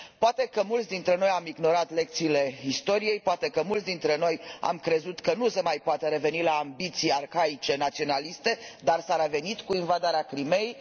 Poate că mulți dintre noi am ignorat lecțiile istoriei, poate că mulți dintre noi am crezut că nu se mai poate reveni la ambiții arhaice naționaliste, dar s a revenit, cu invadarea Crimeii.